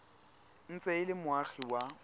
ntse e le moagi wa